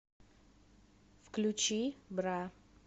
включи бра